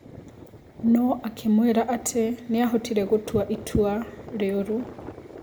No akĩmwĩra atĩ niahotire gũtua itwa rĩoru.